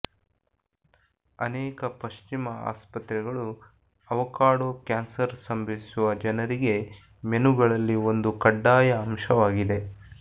ಅನೇಕ ಪಶ್ಚಿಮ ಆಸ್ಪತ್ರೆಗಳು ಆವಕಾಡೊ ಕ್ಯಾನ್ಸರ್ ಸಂಭವಿಸುವ ಜನರಿಗೆ ಮೆನುಗಳಲ್ಲಿ ಒಂದು ಕಡ್ಡಾಯ ಅಂಶವಾಗಿದೆ